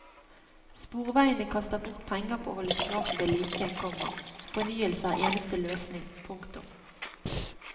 Sporveiene kaster bort penger på å holde skrapet ved like, komma fornyelse er eneste løsning. punktum